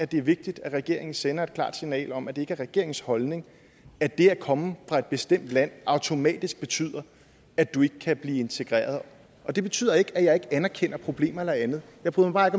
det er vigtigt at regeringen sender et klart signal om at det ikke er regeringens holdning at det at komme fra et bestemt land automatisk betyder at du ikke kan blive integreret det betyder ikke at jeg ikke anerkender problemer eller andet jeg bryder mig